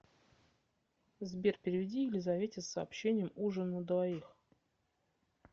сбер переведи елизавете с сообщением ужин на двоих